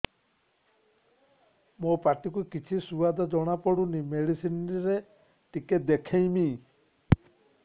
ମୋ ପାଟି କୁ କିଛି ସୁଆଦ ଜଣାପଡ଼ୁନି ମେଡିସିନ ରେ ଟିକେ ଦେଖେଇମି